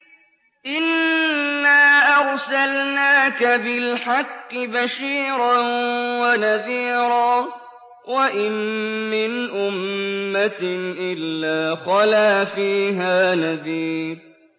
إِنَّا أَرْسَلْنَاكَ بِالْحَقِّ بَشِيرًا وَنَذِيرًا ۚ وَإِن مِّنْ أُمَّةٍ إِلَّا خَلَا فِيهَا نَذِيرٌ